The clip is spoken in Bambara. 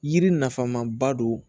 Yiri nafama ba don